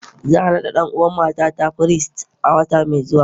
Za a naɗa ɗan'uwan matata firist a wata mai zuwa